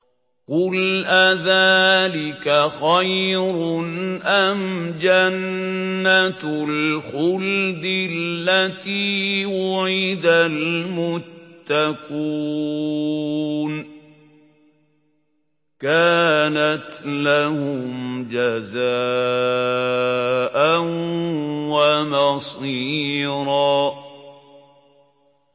قُلْ أَذَٰلِكَ خَيْرٌ أَمْ جَنَّةُ الْخُلْدِ الَّتِي وُعِدَ الْمُتَّقُونَ ۚ كَانَتْ لَهُمْ جَزَاءً وَمَصِيرًا